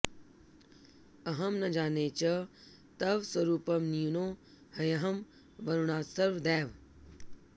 अहं न जाने च तव स्वरूपं न्यूनो ह्यहं वरुणात्सर्वदैव